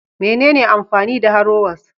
Menene amfani da harrowers?